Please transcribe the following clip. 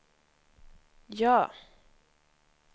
ja